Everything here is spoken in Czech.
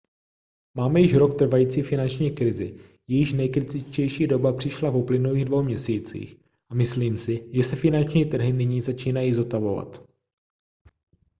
máme již rok trvající finanční krizi jejíž nejkritičtější doba přišla v uplynulých dvou měsících a myslím si že se finanční trhy nyní začínají zotavovat